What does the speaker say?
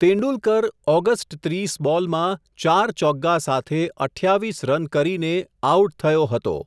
Tendulkar August ત્રીસ બોલમાં, ચાર ચોગ્ગા સાથે અઠયાવિસ રન કરીને, આઉટ થયો હતો.